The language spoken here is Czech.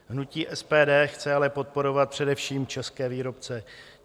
Hnutí SPD chce ale podporovat především české výrobce.